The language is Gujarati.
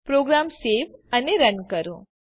પ્રોગ્રામ સવે અને રન કરો